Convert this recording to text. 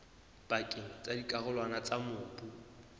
pakeng tsa dikarolwana tsa mobu